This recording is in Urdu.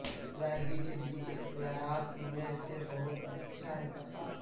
ادائیگی کے لئے اختیارات میں سے بہت اچھا انتخاب